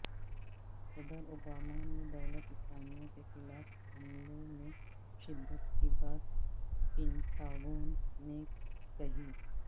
صدر اوبامہ نے دولت اسلامیہ کے خلاف حملوں میں شدت کی بات پینٹاگون میں کہی